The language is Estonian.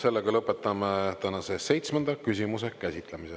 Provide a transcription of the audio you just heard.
Sellega lõpetame tänase seitsmenda küsimuse käsitlemise.